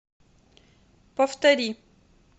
повтори